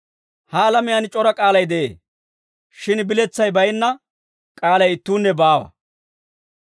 Ha alamiyaan c'ora k'aalay de'ee; shin biletsay baynna k'aalay ittuunne baawa.